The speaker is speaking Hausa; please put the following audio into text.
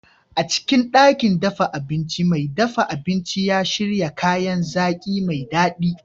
A cikin ɗakin dafa abincin, mai dafa abinci ya shirya kayan zaki mai daɗi.